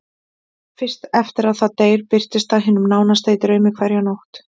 Fyrst eftir að það deyr birtist það hinum nánasta í draumi hverja nótt.